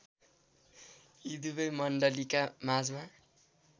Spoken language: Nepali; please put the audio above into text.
यी दुबै मण्डलीका माझमा